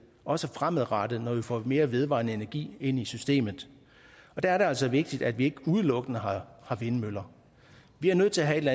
også fremadrettet når vi får mere vedvarende energi ind i systemet og der er det altså vigtigt at vi ikke udelukkende har vindmøller vi er nødt til at have et